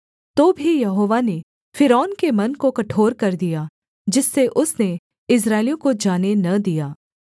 तो भी यहोवा ने फ़िरौन के मन को कठोर कर दिया जिससे उसने इस्राएलियों को जाने न दिया